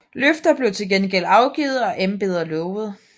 Løfter blev til gengæld afgivet og embeder lovet